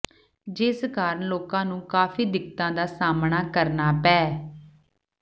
ਜਿਸ ਕਾਰਨ ਲੋਕਾਂ ਨੂੰ ਕਾਫੀ ਦਿੱਕਤਾਂ ਦਾ ਸਾਹਮਣਾ ਕਰਨਾ ਪੈ